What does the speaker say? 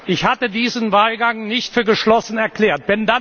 Ich hatte diesen Wahlgang nicht für geschlossen erklärt.